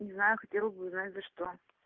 не знаю хотела бы узнать за что